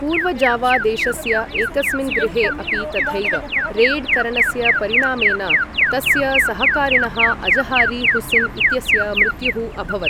पूर्वजावा देशस्य एकस्मिन् गृहे अपि तथैव रेय्ड् करणस्य परिणामेन, तस्य सहकारिणः अज़हारी हुसिन् इत्यस्य मृत्युः अभवत्।